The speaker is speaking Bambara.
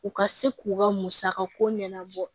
U ka se k'u ka musaka ko ɲɛnabɔ